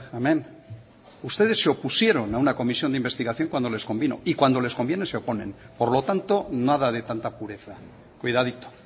hemen ustedes se opusieron a una comisión de investigación cuando les convino y cuando les conviene se oponen por lo tanto nada de tanta pureza cuidadito